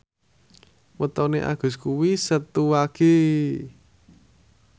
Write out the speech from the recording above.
wetone Agus kuwi Setu Wage